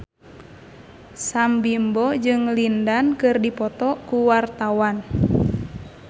Sam Bimbo jeung Lin Dan keur dipoto ku wartawan